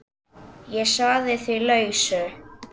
Ég sagði því lausu.